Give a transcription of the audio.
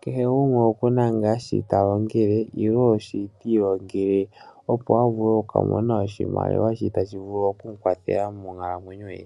Kehe gumwe oku na ngaa shi ta longele nenge shi ti ilongele, opo a vule okumona oshimaliwa shili tashi vulu oku mu kwathela monkalamwenyo ye.